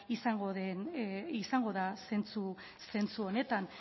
izango da zentzu honetan